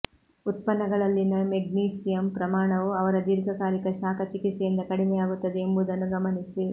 ಉತ್ಪನ್ನಗಳಲ್ಲಿನ magnesium ಪ್ರಮಾಣವು ಅವರ ದೀರ್ಘಕಾಲಿಕ ಶಾಖ ಚಿಕಿತ್ಸೆಯಿಂದ ಕಡಿಮೆಯಾಗುತ್ತದೆ ಎಂಬುದನ್ನು ಗಮನಿಸಿ